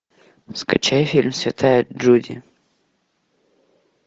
скачай фильм святая джуди